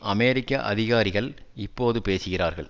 அமெரிக்க அதிகாரிகள் இப்போது பேசுகிறார்கள்